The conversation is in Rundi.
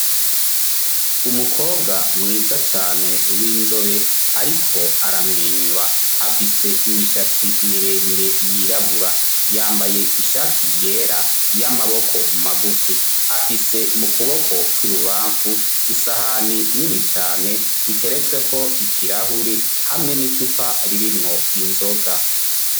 Umukobwa mwiza cane w'inzobe ariko aramwenyura afise imishatsi miremire y'irabura yambaye ishati yera y'amaboko magufi afise mu kuboko kw'ibubafu isahani nini cane iteretswe ko ikirahuri hamwe n'icupa ririmwo inzoga.